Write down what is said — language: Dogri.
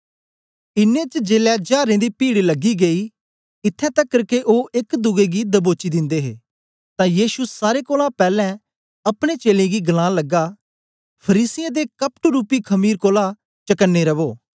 इन्नें च जेलै जारें दी पीड लगी गेई इत्थैं तकर के ओ एक दुए गी दबोची दिंदे हे तां यीशु सारे कोलां पैलैं अपने चेलें गी गलान लगा फरीसियें दे कपटरूपी खमीर कोलां चकने रवो